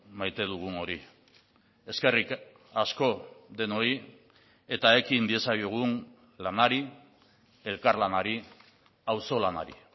maite dugun hori eskerrik asko denoi eta ekin diezaiogun lanari elkarlanari auzolanari